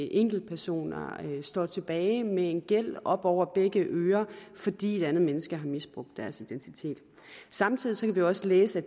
enkeltpersoner står tilbage med en gæld til op over begge ører fordi et andet menneske har misbrugt deres identitet samtidig kan vi jo også læse